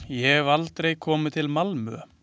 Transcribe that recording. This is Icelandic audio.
Ég hef aldrei komið til Malmö.